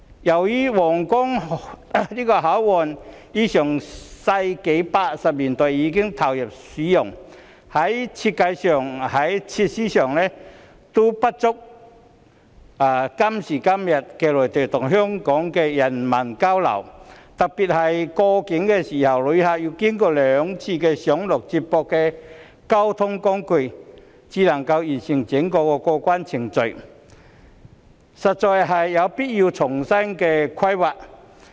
由於皇崗口岸於1980年代已投入使用，在設計及設施上皆不足以滿足今時今日內地與香港的人文交流，特別是旅客過境時要經過兩次上落接駁交通工具，才能完成整個過關程序，因此實在有必要重新規劃。